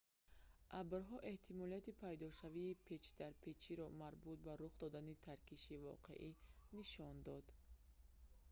абрҳо эҳтимолияти пайдошавии печдарпечиро марбут ба рух додани таркиши воқеӣ нишон дод